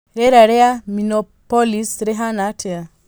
rĩera rĩa Minneapolis rĩhana atĩa